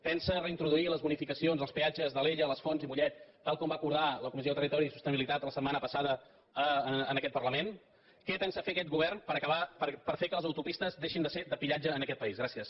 pensa reintroduir les bonificacions als peatges d’alella les fonts i mollet tal com va acordar la comissió de territori i sostenibilitat la setmana passada en aquest parlament què pensa fer aquest govern per fer que les autopistes deixin de ser de pillatge en aquest país gràcies